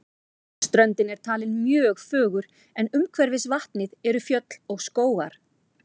Ströndin er talin mjög fögur en umhverfis vatnið eru fjöll og skógar.